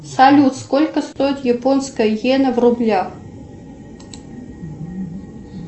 салют сколько стоит японская иена в рублях